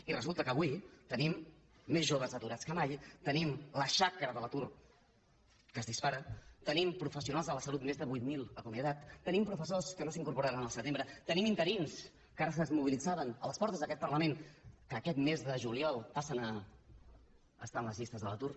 i resulta que avui tenim més joves aturats que mai tenim la xacra de l’atur que es dispara tenim professionals de la salut més de vuit mil acomiadats tenim professors que no s’incorporaran al setembre tenim interins que ara es mobilitzaven a les portes d’aquest parlament que aquest mes de juliol passen a estar en les llistes de l’atur